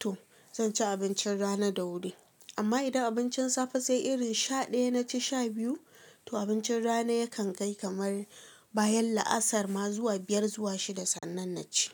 to zan ci abincin rana da wuri. Amma idan abincin safe sai irin sha ɗaya naci sha biyu, to abincin rana yakan kai kamar bayan la'asar ma zuwa biyar zuwa shida sannan na ci.